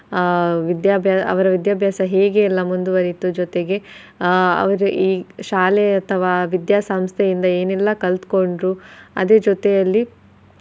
ಆಹ್ ವಿದ್ಯಾಭ್ಯಾ~ ಅವರ ವಿದ್ಯಾಭ್ಯಾಸ ಹೇಗೆ ಎಲ್ಲಾ ಮುಂದುವರೆಯಿತು ಜೊತೆಗೆ ಆಹ್ ಅವ್ರ ಈ ಶಾಲೆ ಅಥವಾ ವಿದ್ಯಾಸಂಸ್ಥೆಯಿಂದ ಏನೆಲ್ಲಾ ಕಲ್ತಕೊಂಡ್ರು ಅದರ್ ಜೊತೆಯಲ್ಲಿ.